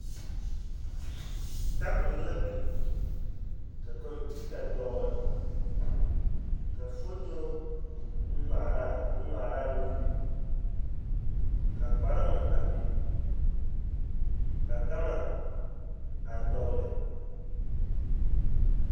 Tabol la biŋ ka kɔmpiita dɔgle ka foto ŋmaaraa bonne ŋmaara meŋ biŋ ka kparoŋ a biŋ ka gama a dɔgle.